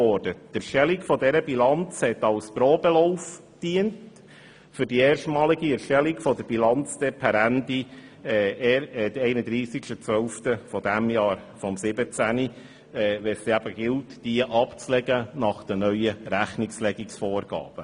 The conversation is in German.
Die Erstellung dieser Bilanz diente als Probelauf für die Erstellung der Bilanz per 31. 12. 2017, welche es dann erstmals nach den neuen Rechnungslegungsvorgaben von HRM2 zu erstellen gilt.